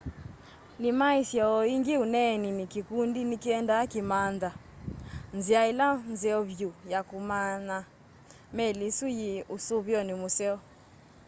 nĩmaisye o ĩngĩ ũneeninĩ kĩkũndi nĩkĩendee kũmantha nzĩa ĩla nzeo vyũ ya kũmya meli ĩsũ yĩ ũsũvĩonĩ mũseo